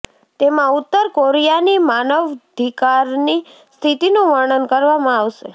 તેમાં ઉત્તર કોરિયાની માનવધિકારની સ્થિતિનું વર્ણન કરવામાં આવશે